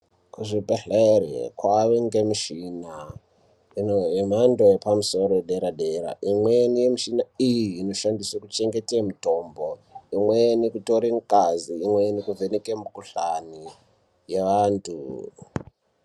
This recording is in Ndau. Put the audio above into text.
Kuzvibhedhlera kwane mishini yemhando yepamusoro yedera dera imweni yemushina iyi inoshandiswa kuchengeta mitombo imweni kutore ngazi imweni kuvheneke mikuhlani yevantu.